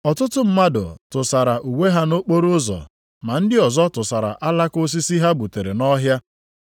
Ọtụtụ mmadụ tụsara uwe ha nʼokporoụzọ, ma ndị ọzọ tụsara alaka osisi ha gbutere nʼọhịa.